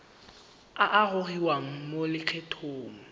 a a gogiwang mo lokgethong